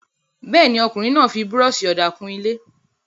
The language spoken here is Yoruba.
Bẹ́ẹ̀ ni, ọkùnrin náà fi búrọ́ṣì-ọ̀dà kun ilé.